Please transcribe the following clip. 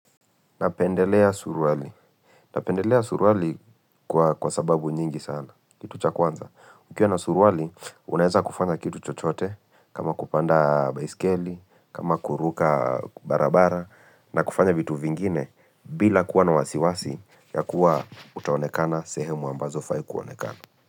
Napendelea suruali. Napendelea suruali kwa sababu nyingi sana. Kitu cha kwanza. Ukiwa na suruali, unaeza kufanya kitu chochote kama kupanda baisikeli, kama kuruka barabara na kufanya vitu vingine bila kuwa na wasiwasi ya kuwa utaonekana sehemu ambazo hufai kuonekana.